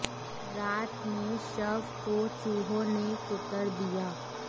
रात में शव को चूहों ने कुतर दिया